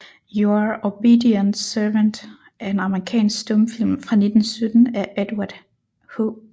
Your Obedient Servant er en amerikansk stumfilm fra 1917 af Edward H